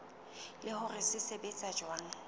le hore se sebetsa jwang